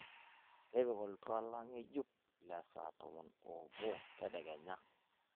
tipika oltuala ng'enjuk lesaa tomon oobo tedekenya